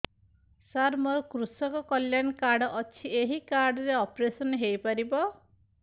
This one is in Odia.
ସାର ମୋର କୃଷକ କଲ୍ୟାଣ କାର୍ଡ ଅଛି ଏହି କାର୍ଡ ରେ ଅପେରସନ ହେଇପାରିବ